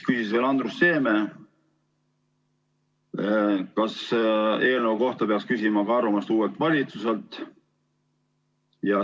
Andrus Seeme küsis, kas eelnõu kohta peaks küsima arvamust ka uuelt valitsuselt.